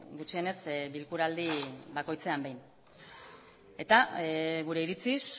gutxienez bilkuraldi bakoitzean behin eta gure iritziz